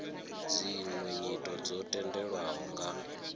dziṅwe nyito dzo tendelwaho nga